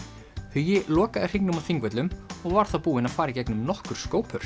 hugi lokaði hringnum á Þingvöllum og var búinn að fara í gegnum nokkur